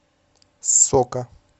сока